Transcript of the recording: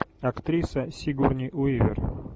актриса сигурни уивер